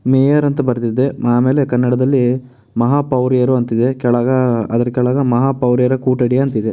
Mayor ಅಂತ ಬರ್ದಿದೆ ಆಮೇಲೆ ಕನ್ನಡದಲ್ಲಿ ಮಹಾಪೌರ್ಯರು ಅಂತಿದೆ ಕೆಳಗ ಅಹ್ ಅದ್ರ್ ಕೆಳಗ ಮಹಾ ಪೌರ್ಯಾರ ಕೂಟಡಿ ಅಂತ ಇದೆ.